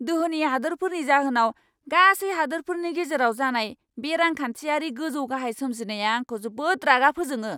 दोहोनि हादोरफोरनि जाहोनाव गासै हादोरफोरनि गेजेराव जानाय बे रांखान्थियारि गोजौ गाहाय सोमजिनाया आंखौ जोबोद रागा फोजोङो!